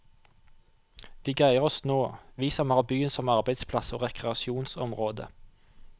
Vi greier oss nå, vi som har byen som arbeidsplass og rekreasjonsområde.